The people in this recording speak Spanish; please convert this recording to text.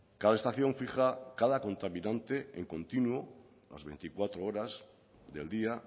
cada estación fija cada contaminante en continuo las veinticuatro horas del día